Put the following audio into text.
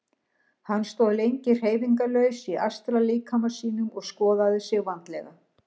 Hann stóð lengi hreyfingarlaus í astrallíkama sínum og skoðaði sig vandlega.